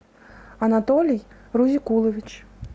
анатолий рузикулович